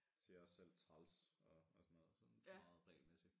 Siger også selv træls og og sådan noget meget regelmæssigt